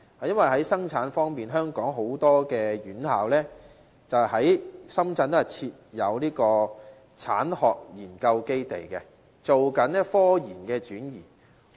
因為在生產方面，香港很多院校都在深圳設有產學研究基地，進行科研轉移。